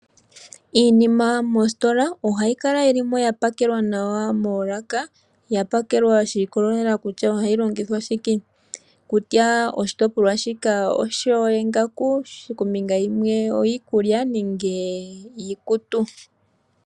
Iinima yomostola ohayi kala yi li mo ya pakelwa nawa moolaka, ya pakelwa shiikolelela kutya ohayi longithwa shike, kutya oshitopolwa shika oshoongaku, iikulya nenge iikutu.